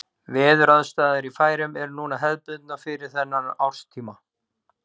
Veðuraðstæður í Færeyjum eru núna hefðbundnar fyrir þennan árstíma.